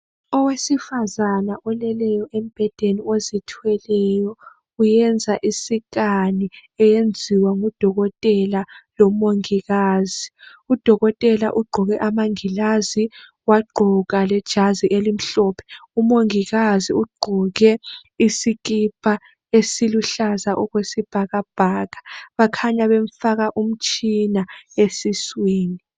Owesifazane oleleyo embhedeni ozithweleyo uyenza isikani eyenziwa ngudokotela lomongikazi. Udokotela ugqoke amangilazi wagqoka lejazi elimhlophe umongikazi ugqoke isikipa esiluhlaza okwesibhakabhaka bakhanya bemfaka umtshina esiswini.